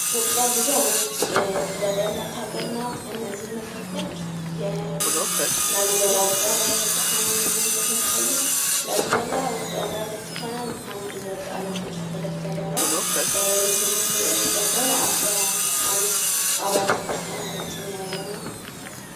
ኢትዮጵያ ብዙ አይነት ጥበብ ያላት ሃገር ናት ከነዚህም መካከል የላሊበላ ዉቅር አብያተ ቤተክርስትያናትን መውሰድ እንችላለን። ላሊበላ ዉቅር አብያተ ቤተክርስትያናት ከአንድ ወጥ አለት የተፈለፈለ ነው። ይኽም ደግሞ አስራ አንድ አብያተ ክርስትያናቶችን የያዘ ነው።